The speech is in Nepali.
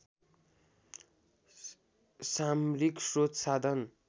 सामरिक स्रोत साधन